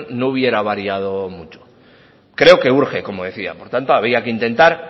no hubiera variado mucho creo que urge como decía por tanto había que intentar